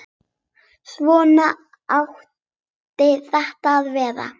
Svona átti þetta að vera.